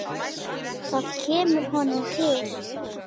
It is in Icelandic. Það kemur honum til.